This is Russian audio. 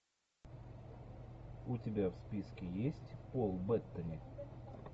у тебя в списке есть пол беттани